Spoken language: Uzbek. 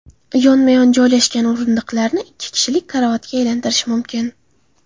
Yonma-yon joylashgan o‘rindiqlarni ikki kishilik karavotga aylantirish mumkin.